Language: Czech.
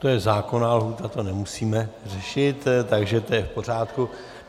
To je zákonná lhůta, to nemusíme řešit, takže to je v pořádku.